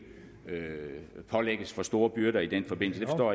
pålægges for store byrder i den forbindelse det